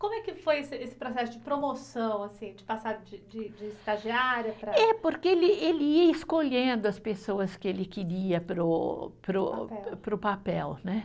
Como é que foi esse esse processo de promoção assim, de passar de de, de estagiária para. É, porque ele ele ia escolhendo as pessoas que ele queria para o, para o. Papel. Para o papel, né.